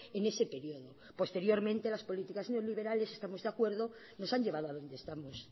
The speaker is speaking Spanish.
en ese periodo posteriormente las políticas neoliberales estamos de acuerdo nos han llevado a donde estamos